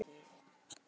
í þessu máli.